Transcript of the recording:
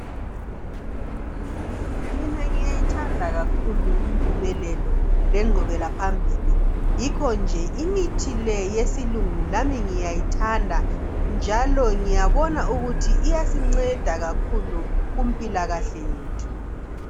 Mina ngiyayithanda kakhulu impumelelo lengqubela phambili yikho nje imithi leyi yesilungu lami ngiyayithanda njalo ngiyabona ukuthi iyasinceda kakhulu kumpilakahle yethu.